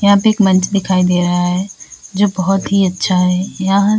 यहां पे एक मंच दिखाई दे रहा है जो बहुत ही अच्छा है। यह --